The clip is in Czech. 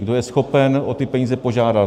Kdo je schopen o ty peníze požádat.